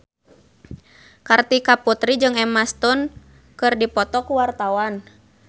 Kartika Putri jeung Emma Stone keur dipoto ku wartawan